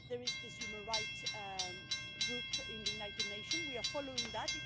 There is the human rights working group in the United Nations, and we are following that.